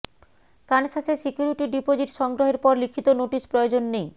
কানসাসে security deposit সংগ্রহের পর লিখিত নোটিশ প্রয়োজন নেই